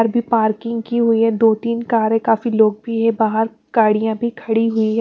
Car भी parking की हुई है दो-तीन कार हैं काफी लोग भी है बाहर गाड़ियाँ भी खड़ी हुई है।